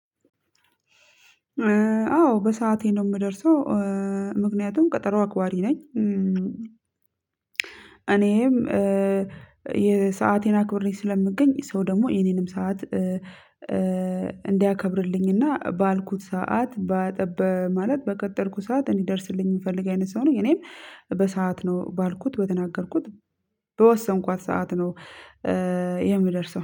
አዎ በሰአቴ ነው ምደርሰው ምክኛቱም እ ከጠሮ አክባሪ ነኝ። እኔም ኧ ሰአቴን አክብረ ስለምገኝ ሰው ደሞ የኔንም ሰዓት እንዲያከብርልኝ እና ባልኩት ሰዓት በቀጠርኩት ሰዓት እዲደርስልኝ የምፈልግ አይነት ሰው ነኝ። በሰአት ነው ባልኩት በተናገርኩት በወሰንኳት ሰዓት ነው። የምደርሰው